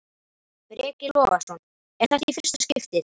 Breki Logason: Er þetta í fyrsta skiptið?